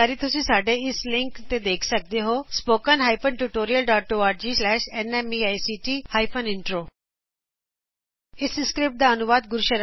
ਹੋਰ ਜਾਣਕਾਰੀ ਲਈ ਤੁਸੀ ਸਾਡੇ ਇਸ ਲਿੰਕ ਨੂੰ ਵੇਖੋ httpspoken tutorialorgNMEICT intro ਇਹ script I T for change Bengaluru ਦਵਾਰਾ ਤਿਆਰ ਕੀਤੀ ਗਈ